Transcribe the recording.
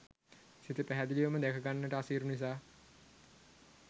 සිත පැහැදිලිවම දැකගන්නට අසීරු නිසා